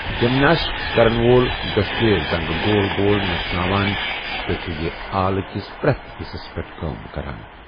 Gymnastic كرن وول دوشوٕیہ زنگہٕ گول گول نژناوان تہٕ چھٗ یہِ آلہٕ كِس پریتھ حِصس پیٹھ کأم كران ۔